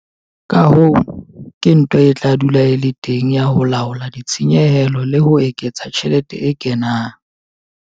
Ka hoo, ke ntwa e tla dula e le teng ya ho laola ditshenyehelo le ho eketsa tjhelete e kenang.